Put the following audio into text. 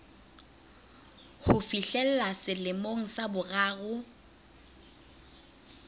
ho fihlella selemong sa boraro